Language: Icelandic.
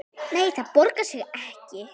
Nei, það borgar sig ekki.